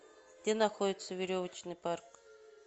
где находится веревочный парк